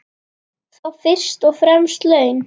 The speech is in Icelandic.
Þá fyrst og fremst laun.